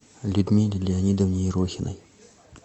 людмиле леонидовне ерохиной